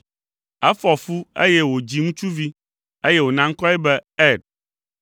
Efɔ fu, eye wòdzi ŋutsuvi, eye wòna ŋkɔe be Er.